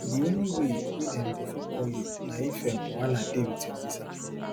di only way wey dem go fit call you na if um wahala dey wit your visa